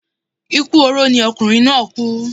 Ikú oró ni ọkunrin naa ku